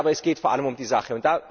Aber es geht vor allem um die Sache.